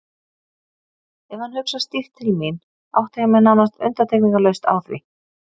Ef hann hugsar stíft til mín átta ég mig nánast undantekningarlaust á því.